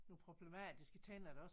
Nogle problematiske tænder eller også